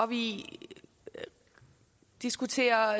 vi diskuterer